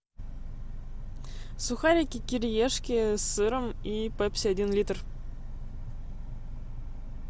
сухарики кириешки с сыром и пепси один литр